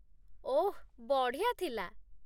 ଓଃ, ବଢ଼ିଆ ଥିଲା!